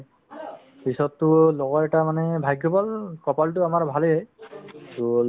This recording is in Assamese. পিছততো লগৰ এটাৰ মানে ভাগ্য ভাল কপালতো আমাৰ ভালেই to